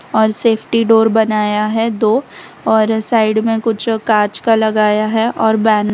और safety door बनाया है दो और साइड में कुछ कांच का लगाया है और बैन --